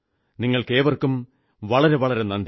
നിങ്ങൾക്കേവർക്കും വളരെ നന്ദി